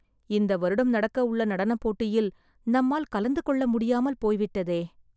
இந்த வருடம் நடக்க உள்ள நடனப்போட்டியில் நம்மால் கலந்து கொள்ள முடியாமல் போய்விட்டதே